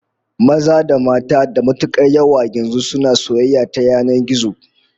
Mata da maza da matukar yawa yanzu suna soyayya ta yanan gizo